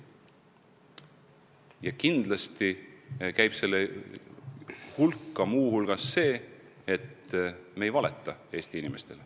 Ja kindlasti käib kaitstavate väärtuste hulka see, et me ei valeta Eesti inimestele.